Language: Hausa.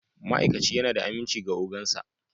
Ma'aikaci yana da aminci ga ogan sa